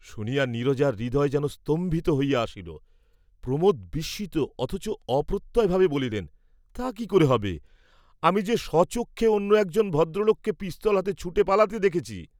শুনিয়া নীরজার হৃদয় যেন স্তম্ভিত হইয়া আসিল, প্রমোদ বিস্মিত অথচ অপ্রত্যয় ভাবে বলিলেন, তা কি ক'রে হবে, আমি যে স্বচক্ষে অন্য একজন ভদ্রলোককে পিস্তলহাতে ছুটে পালাতে দেখেছি।